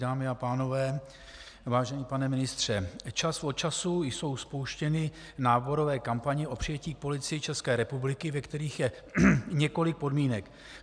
Dámy a pánové, vážený pane ministře, čas od času jsou spouštěny náborové kampaně o přijetí k Policii České republiky, ve kterých je několik podmínek.